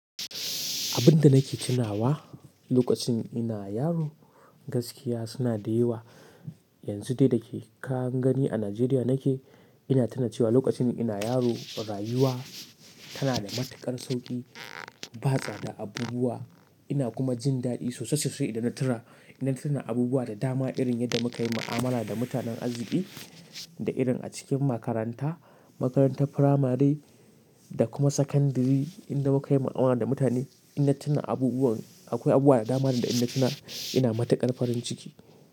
Abun da nake tunawa lokacin ina yaro gaskiya suna da yawa. Yanzu dai da ka gani a Najeriya nake, ina tunawa cewa lokacin ina yaro rayuwa tana da matuƙar sauƙi. Ba tsada abubuwa ina kuma jin daɗi sosai sosai idan na tuna ina tuna abubuwa da dama irin yadda muka yi mu'amala da mutanen arziki da irin a cikin makaranta, makarantar firamari da kuma sakandiri. Inda muka yi mu'amala da mutane ina tuna abubuwan akwai abu wa da dama da ina tuna ina matuƙar farin ciki.